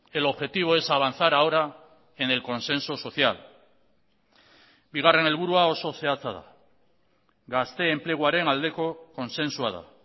el objetivo es avanzar ahora en el consenso social bigarren helburua oso zehatza da gazte enpleguaren aldeko kontzentzua da